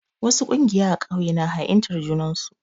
Wasu ƙungiya a ƙauye na ha'intar junar su.